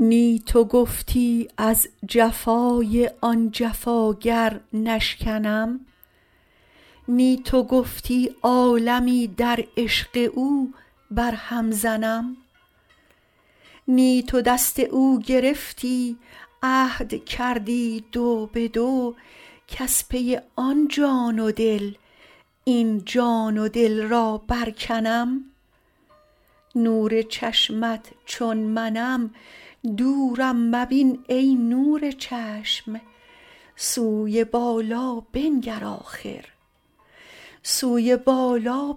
نی تو گفتی از جفای آن جفاگر نشکنم نی تو گفتی عالمی در عشق او برهم زنم نی تو دست او گرفتی عهد کردی دو به دو کز پی آن جان و دل این جان و دل را برکنم نور چشمت چون منم دورم مبین ای نور چشم سوی بالا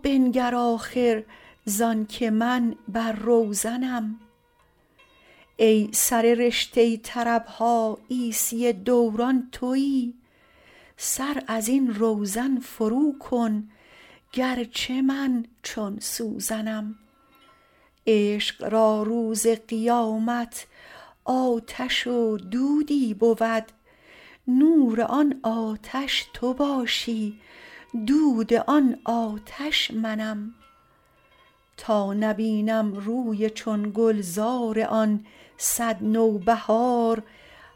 بنگر آخر زانک من بر روزنم ای سر رشته طرب ها عیسی دوران توی سر از این روزن فروکن گرچه من چون سوزنم عشق را روز قیامت آتش و دودی بود نور آن آتش تو باشی دود آن آتش منم تا نبینم روی چون گلزار آن صد نوبهار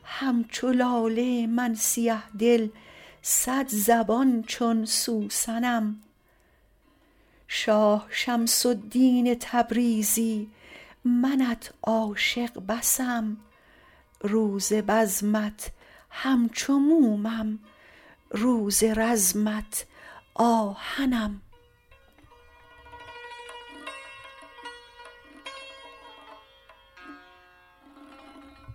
همچو لاله من سیه دل صدزبان چون سوسنم شاه شمس الدین تبریزی منت عاشق بسم روز بزمت همچو مومم روز رزمت آهنم